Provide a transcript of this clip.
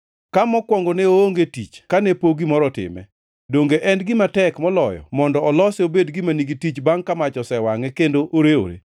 Ka mokwongo ne oonge tich kane pok gimoro otime, donge en gima tek moloyo mondo olose obed gima nigi tich bangʼ ka mach, osewangʼe kendo orewore?